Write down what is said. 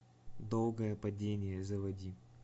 долгое падение заводи